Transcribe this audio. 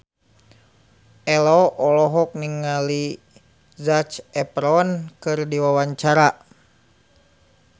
Ello olohok ningali Zac Efron keur diwawancara